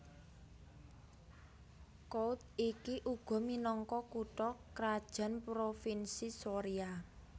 Kouth iki uga minangka kutha krajan Provinsi Soria